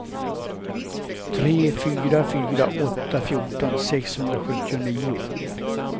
tre fyra fyra åtta fjorton sexhundrasjuttionio